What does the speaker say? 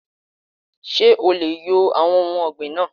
Ṣé o leè yo àwon ohun ògbìn náà